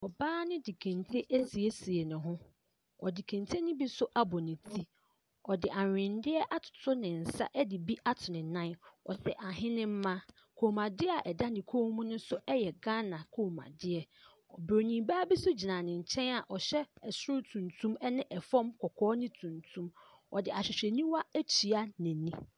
Ↄbaa no de kente no asiesie ne ho. Ↄde kente no bi nso abɔ ne ti. Ↄde ahweneɛ atoto ne nsa de bi ato ne nan. Ↄhyɛ ahenemma. Kɔmmuadeɛ a ɛda ne kɔn mu no nso yɛ Ghana kɔmmuadeɛ. Buroni baa bi nso gyina ne nkyɛn a ɔhyɛ ɛsoro tuntum ɛne ɛfam kɔkɔɔ ne tuntum. Ↄde ahwehwɛniwa atua n’ani.